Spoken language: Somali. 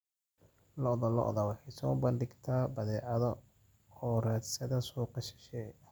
Lo'da lo'da waxay soo bandhigtaa badeecado u raadsada suuqyo shisheeye.